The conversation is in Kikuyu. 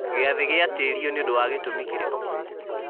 gĩathĩ gĩatĩrio nĩ ũndũ wa gĩtũmi kĩrĩkũ